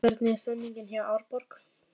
Hvernig er stemningin hjá Árborg?